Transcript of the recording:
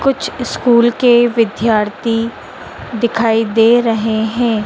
कुछ स्कूल के विद्यार्थी दिखाई दे रहे हैं।